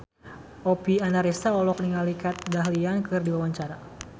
Oppie Andaresta olohok ningali Kat Dahlia keur diwawancara